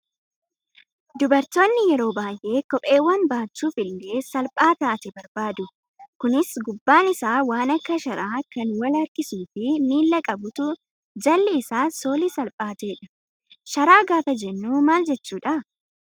Dubaroonni yeroo baay'ee kopheewwan baachuuf illee salphaa taate barbaadu. Kunis gubbaan isaa waan Akka sharaa kan wal harkisuu fi miila qabatu jalli isaas soolii salphaa ta'edha. Sharaa gaafa jennu maal jechuudhaa?